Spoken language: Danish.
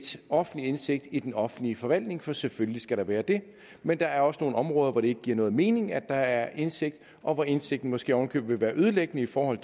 offentlig indsigt i den offentlige forvaltning for selvfølgelig skal der være det men der er også nogle områder hvor det ikke giver nogen mening at der er indsigt og hvor indsigten måske oven i købet vil være ødelæggende for